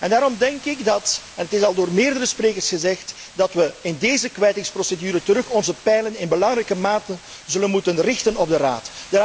En daarom denk ik en het is al door meerdere sprekers gezegd dat we in deze kwijtingsprocedure onze pijlen in belangrijke mate zullen moeten richten op de Raad.